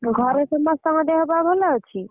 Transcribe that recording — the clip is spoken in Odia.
ଘରେ ସମସ୍ତ ଙ୍କ ଦେହ ପା ଭଲ ଅଛି।